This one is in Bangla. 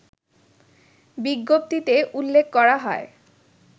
বিজ্ঞপ্তিতে উল্লেখ করা হয়